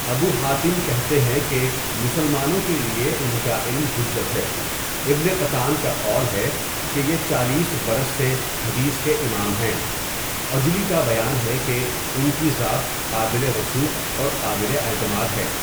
ابوحاتم کہتے ہیں کہ مسلمانوں کے لیے ان کا علم حجت ہے، ابن قطان کا قول ہے کہ یہ چالیس برس سے حدیث کے امام ہیں، عجلی کا بیان ہے کہ ان کی ذات قابل وثوثق اور قابل اعتماد ہے.